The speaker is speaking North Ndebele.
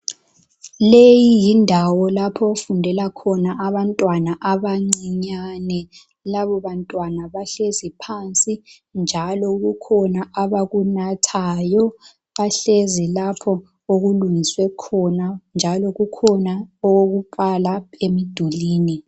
Leyi yindawo lapho okufundela khona abantwana abancinyane. Laba bantwana bahlezi phansi , njalo kukhona abakunathayo. Bahlezi lapho okulungiswe khona. Njalo kukhona okokufaka emdulwini.